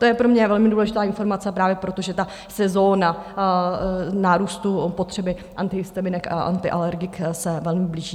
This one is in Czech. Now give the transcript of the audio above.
To je pro mě velmi důležitá informace právě proto, že sezona nárůstu potřeby antihistaminik a antialergik se velmi blíží.